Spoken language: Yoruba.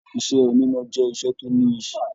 Iṣẹ oníná jẹ iṣẹ tó níyì.